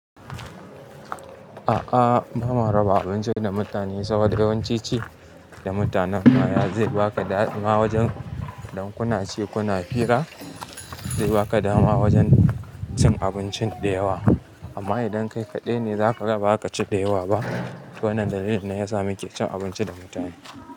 A'a, bama raba abinci da mutane saboda yawanci ci da mutanen ma zai baka dadi wajen idan kuna ci kuna fira zai baka dama wajen cin abinci da yawa. Amma idan kai kaɗai ne, zaka ga baza ka ci da yawa ba. Wannan dalilin ne yasa muke cin abinci da mutane.